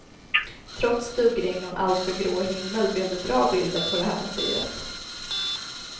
Trots duggregn och en alltför grå himmel blev det bra bilder på det här motivet.